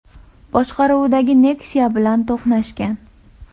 boshqaruvidagi Nexia bilan to‘qnashgan.